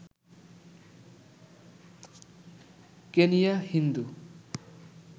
Kenya Hindu